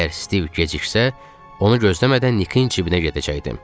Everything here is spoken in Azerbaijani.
Əgər Stiv geciksə, onu gözləmədən Nikin cibinə gedəcəkdim.